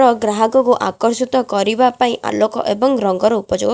ର ଗ୍ରାହାକକୁ ଆକର୍ଷିତ କରିବା ପାଇଁ ଆଲୋକ ଏବଂ ରଙ୍ଗର ଉପଯୋଗ --